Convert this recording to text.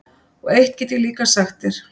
Og eitt get ég líka sagt þér,